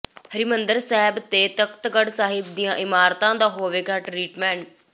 ਹਰਿਮੰਦਰ ਸਾਹਿਬ ਤੇ ਤਖ਼ਤ ਕੇਸਗਡ਼੍ਹ ਸਾਹਿਬ ਦੀਆਂ ਇਮਾਰਤਾਂ ਦਾ ਹੋਵੇਗਾ ਟਰੀਟਮੈਂਟ